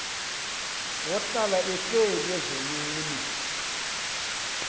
ohlala ehleli ezonweni